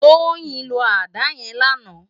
Toyin ló àdá yèn làná